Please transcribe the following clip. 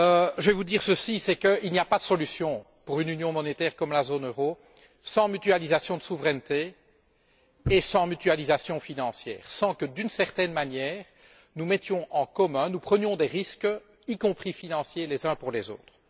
Je vais vous dire ceci c'est qu'il n'y a pas de solution, pour une union monétaire comme la zone euro, sans mutualisation de souverainetés et sans mutualisation financière, sans que, d'une certaine manière, nous mettions des choses en commun, nous prenions des risques, y compris financiers, les uns pour les autres.